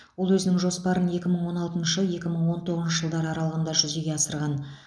ол өзінің жоспарын екі мың он алты екі мың он тоғызыншы жылдар аралығында жүзеге асырған